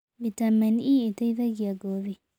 Vĩtamenĩ e ĩteĩthagĩa wa ngothĩ